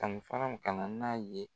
ka na n'a ye.